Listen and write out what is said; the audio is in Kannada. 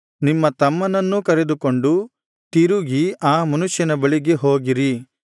ನಿಮ್ಮ ತಮ್ಮನನ್ನೂ ಕರೆದುಕೊಂಡು ತಿರುಗಿ ಆ ಮನುಷ್ಯನ ಬಳಿಗೆ ಹೋಗಿರಿ